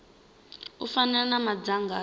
u fana na madzangano a